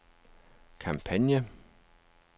kampagne